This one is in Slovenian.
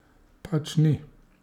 Pač ni!